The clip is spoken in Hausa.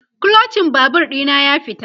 Kluchin Babur ɗina ya fita